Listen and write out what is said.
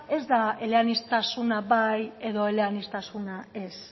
ez da eleaniztasuna bai edo eleaniztasuna ez